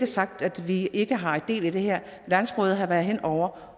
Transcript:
sagt at vi ikke har del i det her landsrådet har været inde over